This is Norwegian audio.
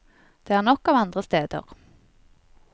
Det er nok av andre steder.